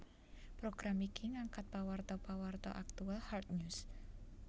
Program iki ngangkat pawarta pawarta aktual hard news